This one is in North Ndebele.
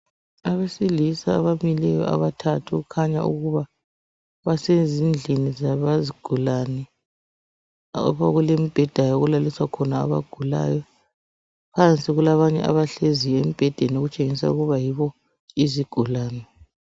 Abesilisa abamileyo abathathu okukhanya ukuba basezindlini zabezigulane okulembheda okulaliswa khona abagulayo phansi kulabanye abahleziyo embhedeni okutshengisa ukuba yibo izigulani.